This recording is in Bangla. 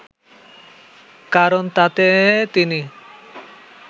কারণ তাতে তিনি